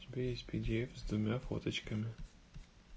у тебя есть пидиэф с двумя фоточками